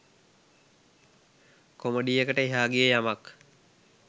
කොමඩියකට එහා ගිය යමක්